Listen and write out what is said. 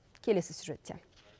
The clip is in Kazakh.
келесі сюжетте